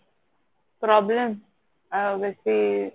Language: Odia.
problem ଆଉ ବେଶି